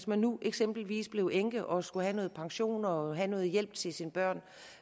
man nu eksempelvis bliver enke og skal have noget pension og have noget hjælp til sine børn